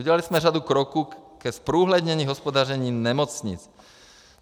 Udělali jsme řadu kroků ke zprůhlednění hospodaření nemocnic.